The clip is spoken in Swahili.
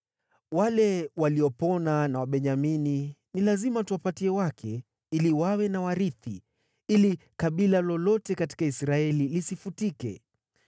Wale waliopona wa Wabenyamini ni lazima tuwape wake, ili wawe na warithi, ili kabila lolote katika Israeli lisifutike.